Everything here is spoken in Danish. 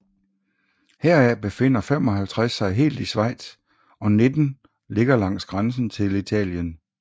Heraf befinder 55 sig helt i Schweiz og 19 ligger langs grænsen til Italien